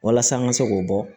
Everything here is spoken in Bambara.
Walasa an ka se k'o bɔ